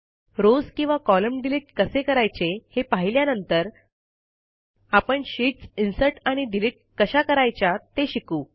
rows किंवा column delete कसे करायचे हे पाहिल्यानंतर आपण शीटस् इन्सर्ट आणि डिलिट कशा करायच्या ते शिकू